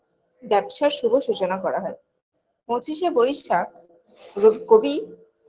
ব্যবসার শুভ সুচনা করা হয় পঁচিশে বৈশাখ রব কবি